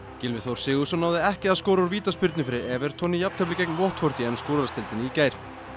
Gylfi Þór Sigurðsson náði ekki að skora úr vítaspyrnu fyrir í jafntefli gegn í ensku úrvalsdeildinni í gær